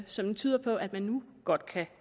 som betyder at man nu godt kan